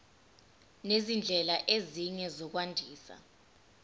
nezindlela ezinye zokwandisa